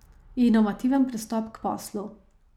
Inovativen pristop k poslu.